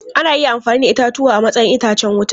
Ana iya amfani da itatuwa a matsayin itacen wuta.